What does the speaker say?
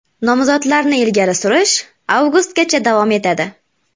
Nomzodlarni ilgari surish avgustgacha davom etadi.